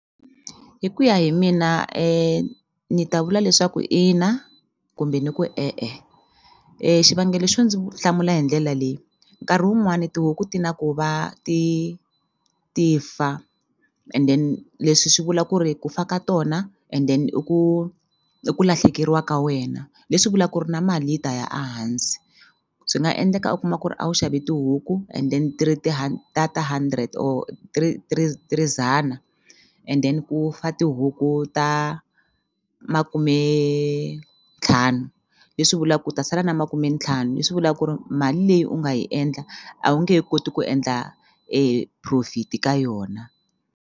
Hi ku ya hi mina ni ta vula leswaku ina kumbe ni ku e-e xivangelo xo ndzi hlamula hi ndlela leyi nkarhi wun'wani tihuku ti na ku va ti ti fa and then leswi swi vula ku ri ku fa ka tona and then i ku i ku lahlekeriwa ka wena leswi vula ku ri na mali yi ta ya a hansi swi nga endleka u kuma ku ri a wu xave tihuku and then ti ri ta ta hundred or ti ri ti ri ti ri dzana and then ku fa tihuku ta makumentlhanu leswi vula ku u ta sala na makumentlhanu leswi vula ku ri mali leyi u nga yi endla a wu nge he koti ku endla profit ka yona.